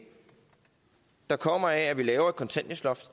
der kommer af at vi laver et kontanthjælpsloft